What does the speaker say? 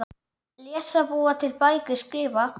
Lesa- búa til bækur- skrifa